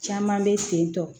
Caman bɛ sen tɔ